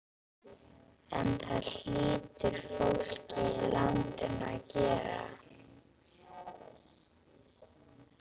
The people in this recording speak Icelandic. En það hlýtur fólkið í landinu að gera.